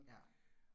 Ja